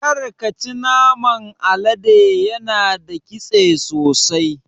Karka ci naman alade yana da ƙitse sosai.